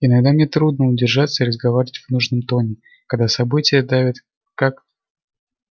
иногда мне трудно удержаться и разговаривать в нужном тоне когда события давят как